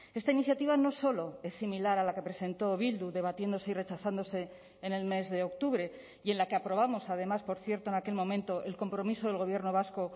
esta iniciativa no solo es similar a la que presentó bildu debatiéndose y rechazándose en el mes de octubre y en la que aprobamos además por cierto en aquel momento el compromiso del gobierno vasco